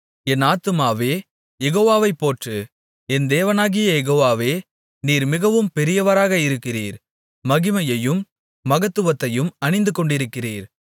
என் ஆத்துமாவே யெகோவாவைப் போற்று என் தேவனாகிய யெகோவாவே நீர் மிகவும் பெரியவராக இருக்கிறீர் மகிமையையும் மகத்துவத்தையும் அணிந்துகொண்டிருக்கிறீர்